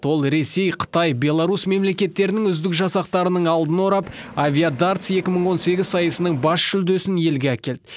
ол ресей қытай және беларусьтің үздік жасақтарының алдын орап авиадартс екі мың он сегіз сайысының бас жүлдесін елге әкелді